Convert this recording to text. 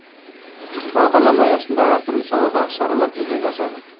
бағдарлама аясында әртүрлі саладағы шаралар жүзеге асады